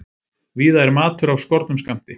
Víða er matur af skornum skammti